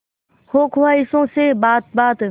हो ख्वाहिशों से बात बात